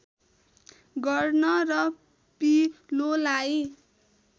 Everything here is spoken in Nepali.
गर्न र पिलोलाई